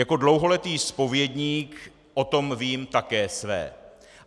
Jako dlouholetý zpovědník o tom vím také své.